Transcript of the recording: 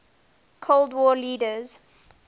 cold war leaders